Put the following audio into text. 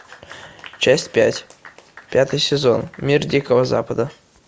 часть пять пятый сезон мир дикого запада